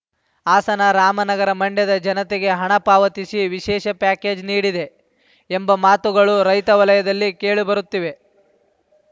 ಹಾಸನ ರಾಮನಗರ ಮಂಡ್ಯದ ಜನತೆಗೆ ಹಣ ಪಾವತಿಸಿ ವಿಶೇಷ ಪ್ಯಾಕೇಜ್‌ ನೀಡಿದೆ ಎಂಬ ಮಾತುಗಳು ರೈತವಲಯದಲ್ಲಿ ಕೇಳಿಬರುತ್ತಿವೆ